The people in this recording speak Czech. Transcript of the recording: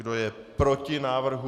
Kdo je proti návrhu?